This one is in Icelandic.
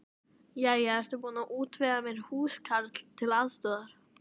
Jæja, ertu búin að útvega mér húskarl til aðstoðar?